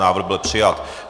Návrh byl přijat.